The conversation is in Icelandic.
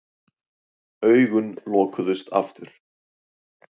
Augun lokuðust aftur.